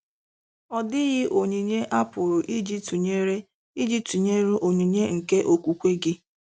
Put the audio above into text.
Ọ dịghị onyinye a pụrụ iji tụnyere iji tụnyere onyinye nke okwukwe gị.